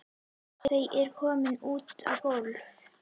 Þau eru komin út á gólf.